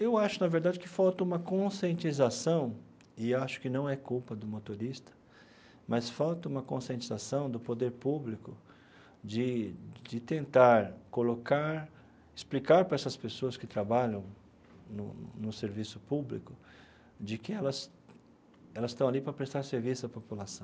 Eu acho, na verdade, que falta uma conscientização, e acho que não é culpa do motorista, mas falta uma conscientização do poder público de de tentar colocar, explicar para essas pessoas que trabalham no no serviço público, de que elas elas estão ali para prestar serviço à população.